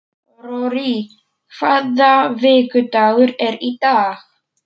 Rorí, hvaða vikudagur er í dag?